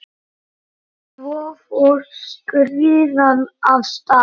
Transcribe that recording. Svo fór skriðan af stað.